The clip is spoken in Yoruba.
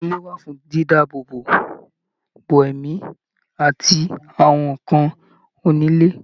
Ìlẹ̀kùn ilé wà fún dídààbò bo ẹ̀mí àti àwọn ǹǹkan onílé